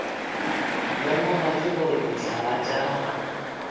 lemoga ke gore dihlaa tša